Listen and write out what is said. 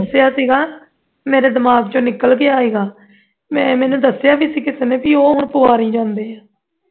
ਦਸਿਆ ਸੀ ਗਾ ਮੇਰੇ ਦਿਮਾਗ ਦੇ ਵਿਚੋਂ ਨਿਕਲ ਗਿਆ ਸੀ ਗਾ ਮੈਂ ਇਨ੍ਹਾਂ ਨੂੰ ਦੱਸਿਆ ਵੀ ਸੀ ਗਾ ਕਿਸੇ ਨੇ ਕਿ ਉਹ ਹੁਣ ਪਵਾਰੀ ਜਾਂਦੇ ਐ